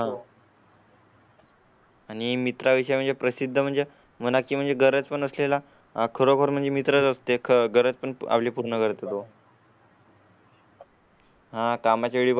आणि मित्रा विशेष म्हणजे प्रसिद्ध म्हणजे मना की म्हणजे गरज पण असलेला खरोखर म्हणजे मित्र असते खरं पण आपली पूर्ण करतो. होय, कामाची वेळ